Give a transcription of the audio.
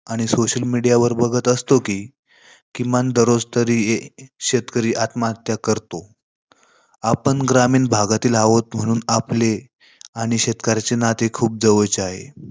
आणि social media वर बघत असतो, कि किमान दररोज तरी ए शेतकरी आत्महत्या करतो. आपण ग्रामीण भागातील आहोत म्हणून आपले आणि शेतकऱ्यांचे नाते खूप जवळचे आहे.